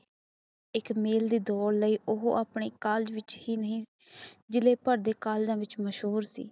ਇੱਕ ਮੇਲੇ ਦੀ ਦੋੜ ਲਈ ਉਹ ਆਪਣੇ ਕਾਲਜ ਵਿੱਚ ਹੀ ਨਹੀਂ ਜਿਲ੍ਹੇ ਭਰ ਦੇ ਵਿੱਚ ਮਹਸੂਰ ਸੀ